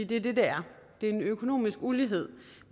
det er det det er det er en økonomisk ulighed